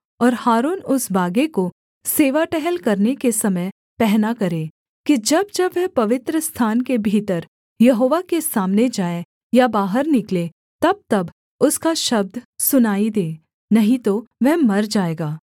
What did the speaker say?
और हारून उस बागे को सेवा टहल करने के समय पहना करे कि जब जब वह पवित्रस्थान के भीतर यहोवा के सामने जाए या बाहर निकले तबतब उसका शब्द सुनाई दे नहीं तो वह मर जाएगा